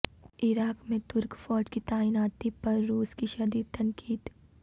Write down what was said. عراق میں ترک فوج کی تعیناتی پر روس کی شدید تنقید